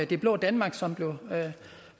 det blå danmark som